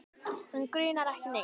Hana grunar ekki neitt.